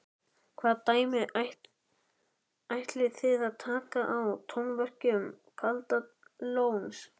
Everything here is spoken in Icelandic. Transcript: Hvaða dæmi ætlið þið að taka af tónverkum Kaldalóns?